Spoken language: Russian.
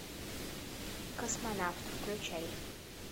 космонавт включай